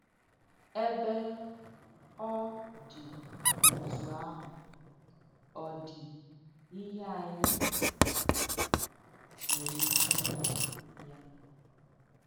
Èbē ọ dì otu àhụ̀, ọ̀ dì ihe ànyị nwērē ìkẹ ìnyẹ ya?